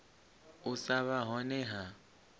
u sa vha hone ha